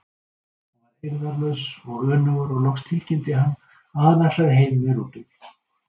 Hann varð eirðarlaus og önugur og loks tilkynnti hann að hann ætlaði heim með rútunni.